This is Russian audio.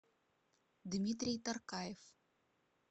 дмитрий таркаев